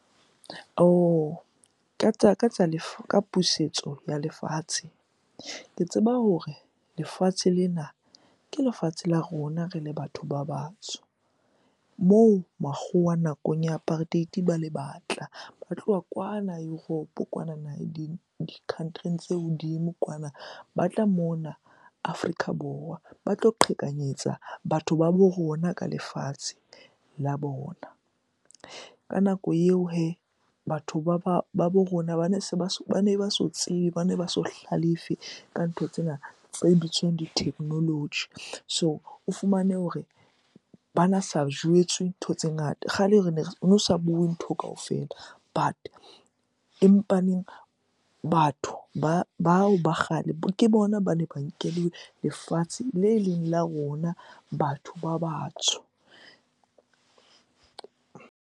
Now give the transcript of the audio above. Ka tsa lefu ka pusetso ya lefatshe, ke tseba hore lefatshe lena ke lefatshe la rona re le batho ba batsho. Moo makgowa nakong ya apartheid-e ba le batla ba tloha kwana Europe kwanana di-country-ing tse hodimo kwana. Ba tla mona Afrika Borwa ba tlo qhekanyetsa batho ba bo rona ka lefatshe la bona. Ka nako eo hee, batho ba bo rona bane se ba, bane ba so tsebe, bane ba so hlalefe ka ntho tsena tse bitswang di-technology. So o fumane hore bana sa jwetswe ntho tse ngata. Kgale hono sa bue ntho kaofela but, empaneng batho bao ba kgale ke bona bane ba nkeleng lefatshe le leng la rona batho ba batsho.